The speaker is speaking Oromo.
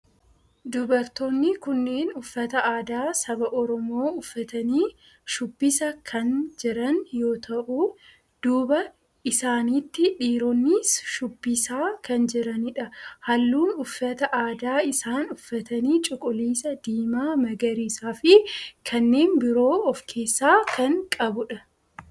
Dubartoonni kunneen uffata aadaa saba oromoo uffatanii shubbisaa kan jiran yoo ta'u duuba isaaniitti dhiiroonnis shubbisaa kan jiranidha. halluun uffata aadaa isaan uffatanii cuquliisa, diimaa, magariisaa fi kannen biroo of keessaa kan qabudha.